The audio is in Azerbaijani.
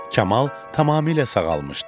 Kamal tamamilə sağalmışdı.